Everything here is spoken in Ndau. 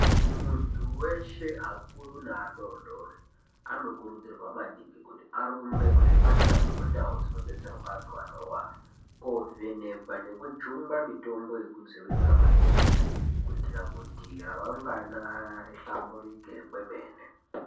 Muntu weshe akuru neadodori anokurudzirwa maningi kuti arumbe kuzvipatara nekundau dzinobetserwa antu anorwara kovhenekwa nekujungwa mitombo yekudzivirira matenda kuitira kuti ramangwana rihlamburike kwemene.